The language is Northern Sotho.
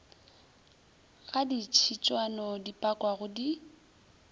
ga ditšhitswana di pakwago di